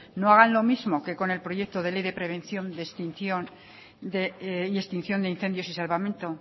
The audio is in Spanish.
no hagan lo mismo que con el proyecto de ley de prevención y extinción de incendios y salvamento